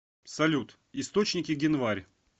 салют источники генварь